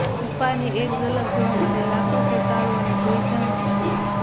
બપ્પાની એક ઝલક જોવા માટે લાખો શ્રાદ્ધાળુંઓની ભીડ જામશે